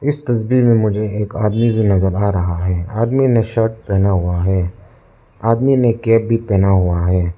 इस तस्वीर में मुझे एक आदमी भी नजर आ रहा है आदमी ने शर्ट पहना हुआ है आदमी ने केप भी पहना हुआ है।